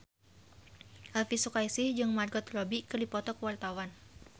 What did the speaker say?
Elvy Sukaesih jeung Margot Robbie keur dipoto ku wartawan